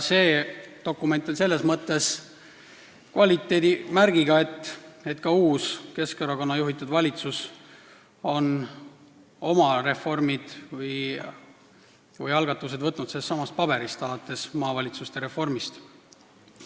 See dokument on selles mõttes kvaliteedimärgiga, et ka uus, Keskerakonna juhitud valitsus on sealt üle võtnud oma reformid või algatused, alates maavalitsuste reformist.